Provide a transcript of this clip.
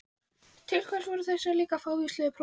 Til hvers voru líka þessi fávíslegu próf?